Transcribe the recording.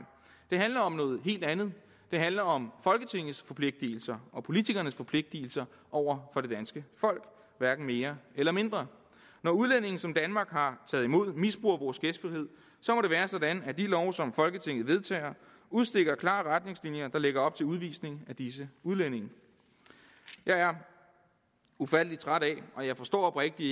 det handler om noget helt andet det handler om folketingets forpligtelser og politikernes forpligtelser over for det danske folk hverken mere eller mindre når udlændinge som danmark har taget imod misbruger vores gæstfrihed så må det være sådan at de love som folketinget vedtager udstikker klare retningslinjer der lægger op til udvisning af disse udlændinge jeg er ufattelig træt af og jeg forstår oprigtig